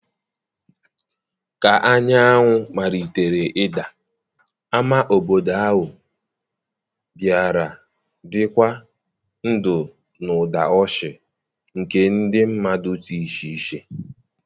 ka anyanwụ malitere ịda, ámá obodo ahụ bịara dị ndụ na ụda ọchị nke ndị mmadụ dị iche iche.